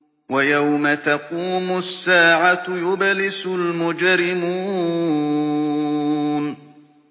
وَيَوْمَ تَقُومُ السَّاعَةُ يُبْلِسُ الْمُجْرِمُونَ